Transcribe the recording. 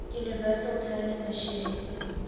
universal turing machine